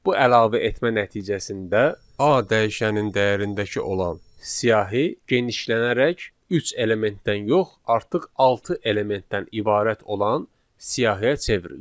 Bu əlavə etmə nəticəsində A dəyişənin dəyərindəki olan siyahı genişlənərək üç elementdən yox, artıq altı elementdən ibarət olan siyahıya çevrilir.